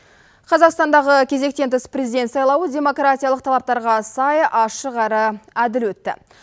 қазақстандағы кезектен тыс президент сайлауы демократиялық талаптарға сай ашық әрі әділ өтті